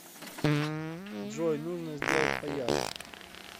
джой нужно сделать поярче